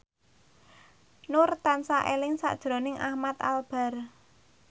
Nur tansah eling sakjroning Ahmad Albar